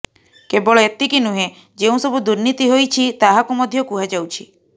କେବଳ ଏତିକି ନୁହେଁ ଯେଉଁ ସବୁ ଦୁର୍ନୀତି ହୋଇଛି ତାହାକୁ ମଧ୍ୟ କୁହାଯାଉଛି